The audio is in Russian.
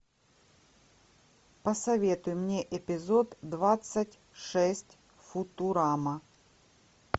посоветуй мне эпизод двадцать шесть футурама